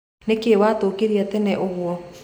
Nĩkĩ watũkĩria tene ũguo.